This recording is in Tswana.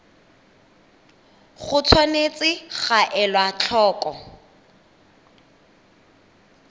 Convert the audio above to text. go tshwanetse ga elwa tlhoko